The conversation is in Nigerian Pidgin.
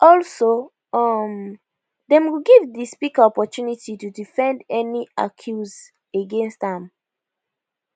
also um dem go give di speaker opportunity to defend any accuse against am